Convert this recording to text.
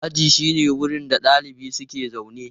Aji shine wurin da ɗalibai suke zaune.